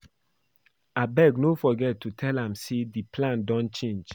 Abeg no forget to tell am say the plan don change